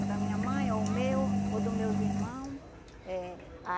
Ou da minha mãe, ou o meu, ou do meus irmão eh